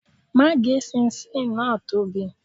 Má gé ṣinṣin náà tóbi.